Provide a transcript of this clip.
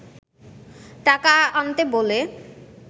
টাকা আনতে বলে